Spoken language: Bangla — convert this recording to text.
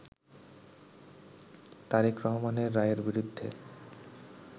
তারেক রহমানের রায়ের বিরুদ্ধে